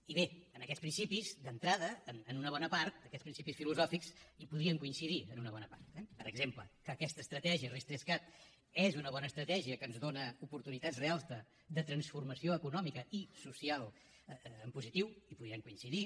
i bé en aquests principis d’entrada en una bona part en aquests principis filosòfics podríem coincidir en una bona part eh per exemple que aquesta estratègia ris3cat és una bona estratègia que ens dóna oportunitats reals de transformació econòmica i social en positiu hi podríem coincidir